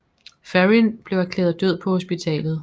Ferrin blev erklæret død på hospitalet